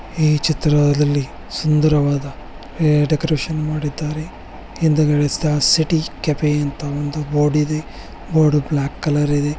ಈ ಚಿತ್ರದಲ್ಲಿ ಸುಂದರ ವಾದ ಡೆಕೋರೇಷನ್ ಮಾಡಿದ್ದಾರೆ ಹಿಂದಗಡೆ ಸ್ಟಾರ್ ಸಿಟಿ ಕೆಫೆ ಅಂತ ಗೋಡಿದೆ ಬೋರ್ಡ್ ಬ್ಲಾಕ್ ಕಲರ್ ಇದೆ.